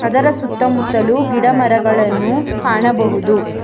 ಅದರ ಸುತ್ತ ಮುತ್ತಲು ಗಿಡ ಮರಗಳನ್ನು ಕಾಣಬಹುದು.